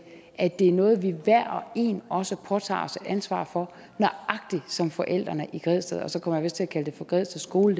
at det er noget som vi hver og en også påtager os et ansvar for nøjagtig som forældrene i græsted og så kom jeg vist til at kalde det for græsted skole